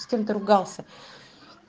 с кем то ругался